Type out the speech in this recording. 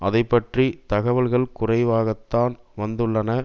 அதைப்பற்றிய தகவல்கள் குறைவாகத்தான் வந்துள்ளன